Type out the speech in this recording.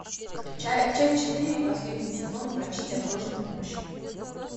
часть четыре последний сезон врачи неотложной помощи